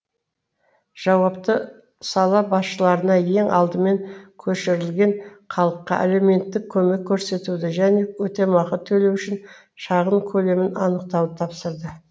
жауапты сала басшыларына ең алдымен көшірілген халыққа әлеуметтік көмек көрсетуді және өтемақы төлеу үшін шағын көлемін анықтауды тапсырды